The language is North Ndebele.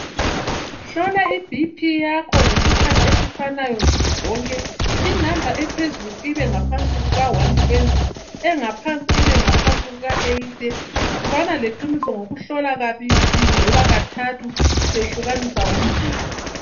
Hlola i BP yakho ngesikhathi esifanayo nsuku zonke inamba ephezulu ibe ngaphansi kuka120 engaphansi ibengaphansi kuka80 bana leqiniso ngokuhlola kabili loba kathathu usehlukanisa ngomzulu.